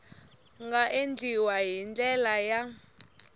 nga endliwa hi ndlela ya